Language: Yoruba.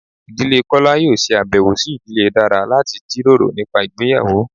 Ìdílé kola yóò se abèwo si ìdílé dara lati jiroro nipa ìgbéyàwó